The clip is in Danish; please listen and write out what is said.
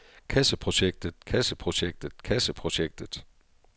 kasseprojektet kasseprojektet kasseprojektet